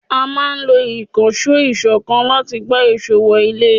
A máa ń lo Ìkànsó ìkọ́ńkan láti gbá èsó wọ ilé